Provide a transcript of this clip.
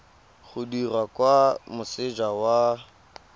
o dirwa kwa moseja wa